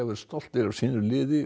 verið stoltir af sínu liði